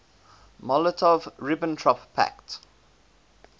molotov ribbentrop pact